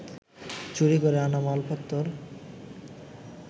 চুরি করে আনা মালপত্তর